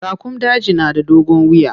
Raƙumun daji na da dogon wiya.